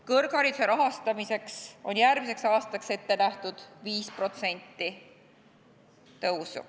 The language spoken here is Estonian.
Kõrghariduse rahastamiseks on järgmiseks aastaks ette nähtud 5% tõusu.